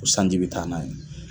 Ko sanji bɛ taa n'a ye.